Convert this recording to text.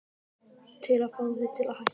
Til að fá þig til að hætta.